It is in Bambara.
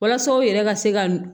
Walasa u yɛrɛ ka se ka